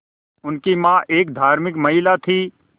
उनकी मां एक धार्मिक महिला थीं